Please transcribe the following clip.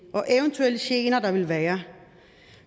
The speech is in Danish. og eventuelle gener der ville være